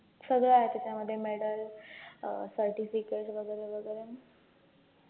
सगळं आहे त्याच्यामध्ये medal अं certificate वैगरे वैगरे